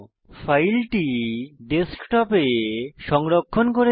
ফাইলটি ডেস্কটপে সংরক্ষণ করব